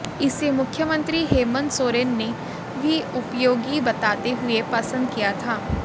इसे मुख्यमंत्री हेमंत सोरेन ने भी उपयोगी बताते हुए पसंद किया था